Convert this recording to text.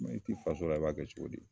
mɛ i t'i fasola i b'a kɛ cogo di